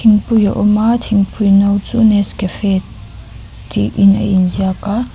thingpui a awm a thingpui no chu nescafe tih in a inziak a.